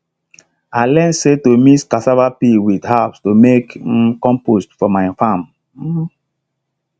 i learn say to mix cassava peel with herbs to make um compost for my farm um